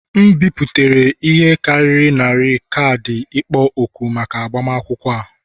M bipụtara ihe karịrị narị kaadị ịkpọ òkù maka agbamakwụkwọ a